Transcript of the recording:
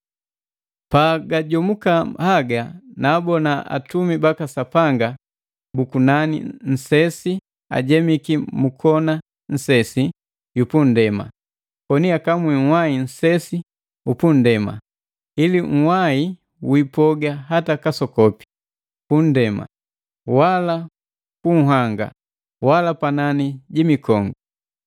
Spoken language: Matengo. Pagajomuka haga naabona atumi baka Sapanga bu kunani nnsesi ajemiki mu kona nsesi yu punndema, koni akamwi nhwai nsesi u punndema, ili nhwai wiipoga hata kasokopi: pu nndema, wala ku nhanga, wala panani ju mikongu.